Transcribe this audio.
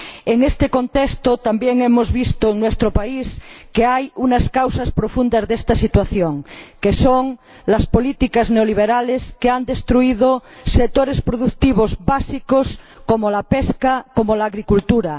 En este contexto, también hemos visto en nuestro país que hay unas causas profundas de esta situación, que son las políticas neoliberales que han destruido sectores productivos básicos como la pesca, como la agricultura